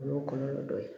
O y'o kɔlɔlɔ dɔ ye